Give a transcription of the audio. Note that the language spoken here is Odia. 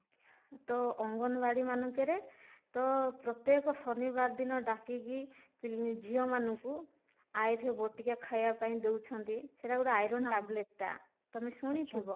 ତ ଅଙ୍ଗନବାଡି ମାନଙ୍କରେ ତ ପ୍ରତ୍ୟେକ ଶନିବାର ଦିନ ଡାକିକି ଝିଅ ମାନଙ୍କୁ ବଟିକା ଖାଇବା ପାଇଁ ଦଉଚନ୍ତି ସେଟା ଗୋଟେ iron ଟାବଲେଟ ଟା ତମେ ଶୁଣିଥିବ